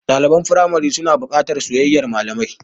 Ɗaliban firamari suna buƙatar soyayyar malamai.